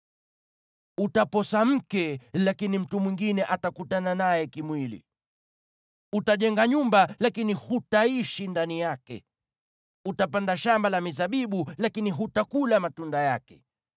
Utaposa mke, lakini mtu mwingine atakutana naye kimwili. Utajenga nyumba, lakini hutaishi ndani yake. Utapanda shamba la mizabibu, lakini hutakula matunda yake.